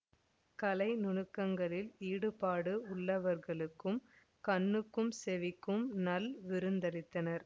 கலை நுணுக்கங்களில் ஈடுபாடு உள்ளவர்களுக்குக் கண்ணுக்கும் செவிக்கும் நல் விருந்தளித்தனர்